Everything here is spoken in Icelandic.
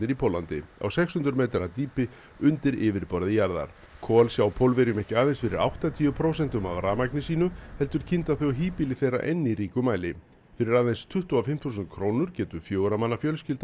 í Póllandi á sex hundruð metra dýpi undir yfirborði jarðar kol sjá Pólverjum ekki aðeins fyrir áttatíu prósentum af rafmagni sínu heldur kynda þau híbýli þeirra enn í ríkum mæli fyrir aðeins tuttugu og fimm þúsund krónur getur fjögurra manna fjölskylda